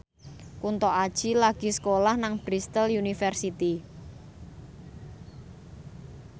Kunto Aji lagi sekolah nang Bristol university